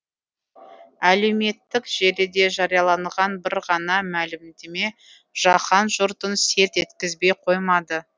әлеуметтік желіде жарияланған бір ғана мәлімдеме жаһан жұртын селт еткізбей қоймады